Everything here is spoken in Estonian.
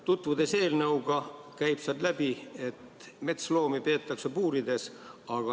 Tutvudes eelnõuga, nägin, et sealt käib läbi, et metsloomi peetakse puurides.